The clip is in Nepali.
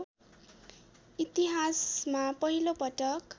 इतिहासमा पहिलो पटक